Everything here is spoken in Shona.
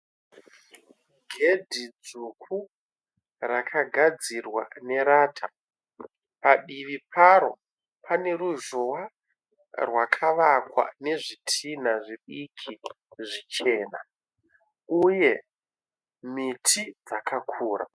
Gedhi dzvuku rakagadzirwa nerata. Padivi paro pane ruzhowa rwakavakwa nezvitinha zvidiki zvichena uye miti dzakakura.